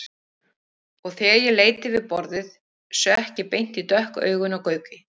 Og þegar ég leit yfir borðið sökk ég beint í dökk augun á Gauki.